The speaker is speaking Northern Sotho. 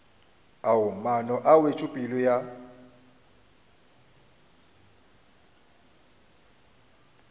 ao maano a wetšopele ya